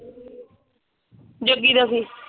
Jogi Ravi.